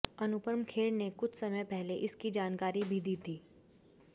अनुपम खेर ने कुछ समय पहले इसकी जानकारी भी दी थी